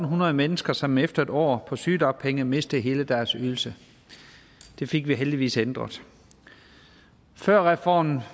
hundrede mennesker som efter en år på sygedagpenge mistede hele deres ydelse det fik vi heldigvis ændret før reformen